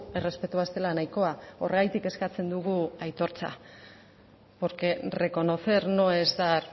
errespetua ez dela nahikoa horregatik eskatzen dugu aitortza porque reconocer no es dar